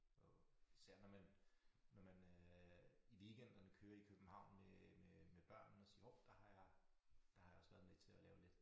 Og især når man når man øh i weekenderne kører i København med med med børnene siger hov der har jeg der har jeg også været med til at lave lidt